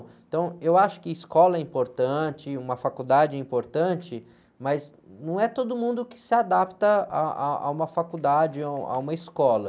Então, eu acho que escola é importante, uma faculdade é importante, mas não é todo mundo que se adapta ah, ah, a uma faculdade, a um, a uma escola.